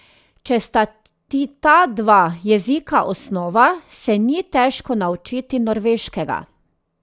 Če sta ti ta dva jezika osnova, se ni težko naučiti norveškega.